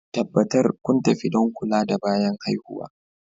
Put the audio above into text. Tabbatar kun tafi don kula da bayan haihuwa